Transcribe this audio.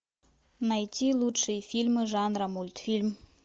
найти лучшие фильмы жанра мультфильм